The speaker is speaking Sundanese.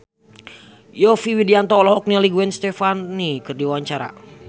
Yovie Widianto olohok ningali Gwen Stefani keur diwawancara